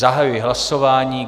Zahajuji hlasování.